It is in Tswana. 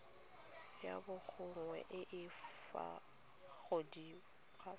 ya borongwa e e gaufi